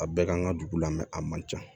A bɛɛ kan ka dugu la a man ca